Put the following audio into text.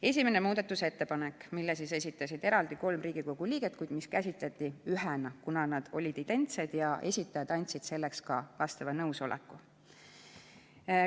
Esimene muudatusettepanek, mille esitasid eraldi kolm Riigikogu liiget, kuid mida käsitleti ühena, kuna nad olid identsed ja esitajad andsid selleks ka vastava nõusoleku.